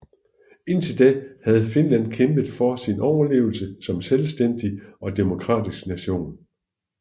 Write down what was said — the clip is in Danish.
Indtil da havde Finland kæmpet for sin overlevelse som selvstændig og demokratisk nation